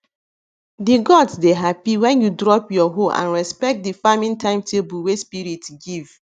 the gods dey happy when you drop your hoe and respect the farming timetable wey spirit give